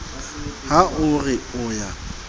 ha o re o a